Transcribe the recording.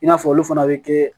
I n'a fɔ olu fana bɛ kɛ